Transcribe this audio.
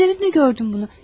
Gözlerimle gördüm bunu.